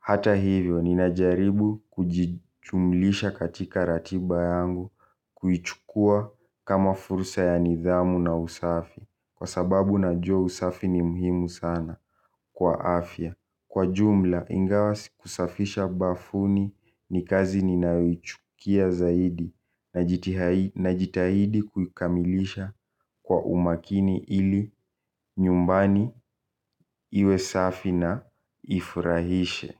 Hata hivyo, ninajaribu kujichumlisha katika ratiba yangu kuichukua kama fursa ya nidhamu na usafi. Kwa sababu na jua usafi ni muhimu sana kwa afya. Kwa jumla, ingawa sikusafisha bafuni ni kazi ninayochukia zaidi. Najitahidi kukamilisha kwa umakini ili nyumbani iwe safi na ifurahishe.